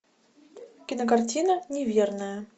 кинокартина неверная